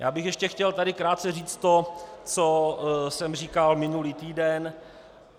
Já bych ještě chtěl tady krátce říct to, co jsem říkal minulý týden.